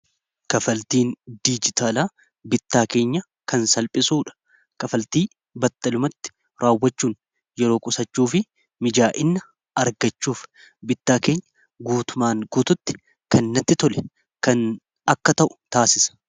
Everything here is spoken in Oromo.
Kaffaltiin diijitaalaa bittaa keenya kan salphisuudha. Kaffaltii battalumatti raawwachuun yeroo qusachuu fi mijaa'inna argachuuf bittaa keenya guutumaan guututti kannatti tole kan akka ta'u taasisa.